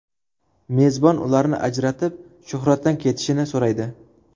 Mezbon ularni ajratib, Shuhratdan ketishini so‘raydi.